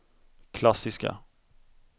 klassiska